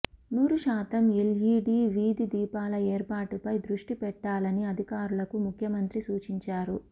నూరుశాతం LED వీధి దీపాల ఏర్పాటుపై దృష్టిపెట్టాలని అధికారులకు ముఖ్యమంత్రి సూచించారు